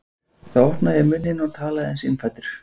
Þá opnaði ég munninn og talaði einsog innfæddur